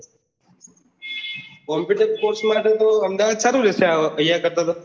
computer course કરવા માટે તો અમદાવાદ સારું રેશે અહિયા કરતા તો